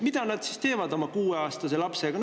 Mida nad teevad siis oma 6-aastase lapsega?